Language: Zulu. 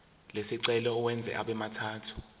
lesicelo uwenze abemathathu